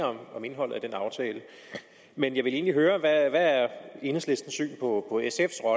om indholdet af den aftale men jeg vil egentlig høre hvad der er enhedslistens syn på at